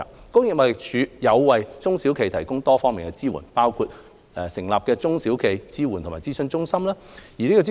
工業貿易署為中小企業提供多方面的支援，包括成立中小企業支援與諮詢中心。